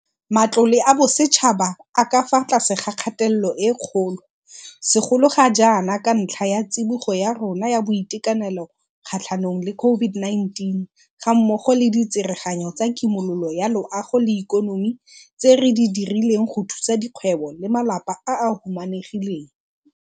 Matlole a bosetšhaba a ka fa tlase ga kgatelelo e kgolo, segolo ga jaana ka ntlha ya tsibogo ya rona ya boitekanelo kgatlhanong le COVID-19 gammogo le ditsereganyo tsa kimololo ya loago le ikonomi tse re di dirileng go thusa dikgwebo le malapa a a humanegileng.